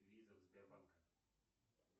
виза в сбербанк